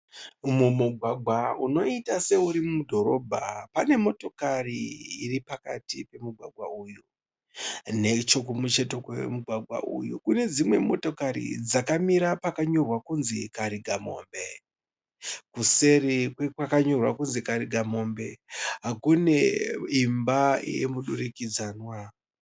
Mumugwagwa unoita seuri mudhorobha, pane motokari iripakati pomugwagwa uyu. Nechokumucheto kwemugwagwa uyu kune dzimwe motokari dzakamira pakanyorwa kunzi Karigamombe.. Kuseri kwekwanyorwa kunzi Karigambombe kuneimba yemudurikidzanwa.